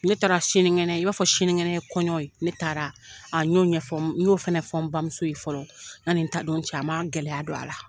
Ne taara sinikɛnɛ i n'a fɔ sininkɛnɛ ye kɔɲɔ ye , ne taara a n y'o ɲɛfɔ, n y'o fana fɔ n bamuso ye fɔlɔ yani n taa don cɛ. A ma gɛlɛya don a la.